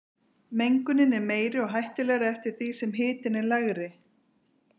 Mengunin er meiri og hættulegri eftir því sem hitinn er lægri.